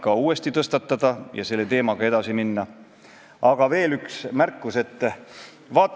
2017. aastal avati võõrtööjõule uks laiemalt ja peale seda on sagenenud kaebused mitte ainult vene keele suhtes, et eestikeelset teenindust ei saa.